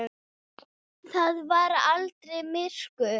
Það var aldrei myrkur.